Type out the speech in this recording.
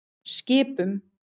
Skipum